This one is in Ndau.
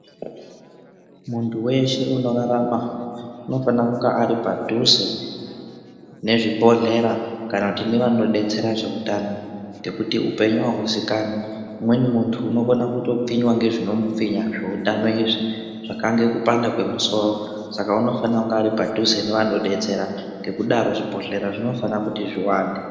Muntu weshe unorarama unofanira kunge ari padhuze nezvibhedhlera kana kuti nevanodetsera zveutano ngekuti upenyu ahuzikanwi umweni muntu unokona kutopfinywa ngezvinomumvinya zveutano izvi zvakange kupanda kwemusoro saka unofanira kunge ari padhuze nevanodetsera ngekudaro zvibhedhlera zvinofana kuti zviwande.